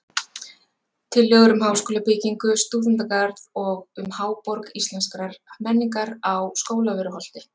Tillögur um háskólabyggingu, stúdentagarð og um Háborg íslenskrar menningar á Skólavörðuholti.